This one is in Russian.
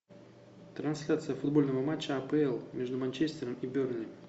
трансляция футбольного матча апл между манчестером и бернли